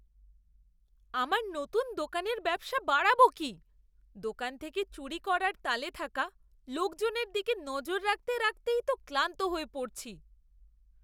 আমার নতুন দোকানের ব্যবসা বাড়াবো কি, দোকান থেকে চুরি করার তালে থাকা লোকজনের দিকে নজর রাখতে রাখতেই তো ক্লান্ত হয়ে পড়ছি।